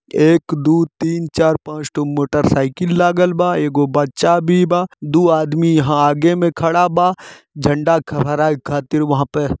एक दु तीन चार पाँच ठो मोटरसाइकिल लागल बा एगो बच्चा भी बा दु आदमी यहाँ आगे मे खड़ा बा झण्डा फहराए खातिर वहाँ पे --